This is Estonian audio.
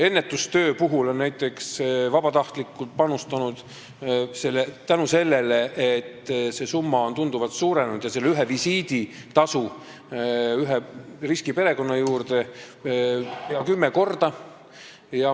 Ennetustööle on vabatahtlikud rohkem panustanud, tänu sellele, et summa on tunduvalt suurenenud, ühe visiidi tasu ühe riskiperekonna juurde peaaegu kümme korda.